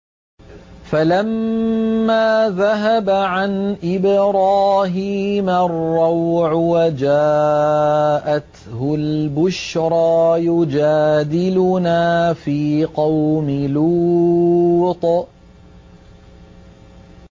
فَلَمَّا ذَهَبَ عَنْ إِبْرَاهِيمَ الرَّوْعُ وَجَاءَتْهُ الْبُشْرَىٰ يُجَادِلُنَا فِي قَوْمِ لُوطٍ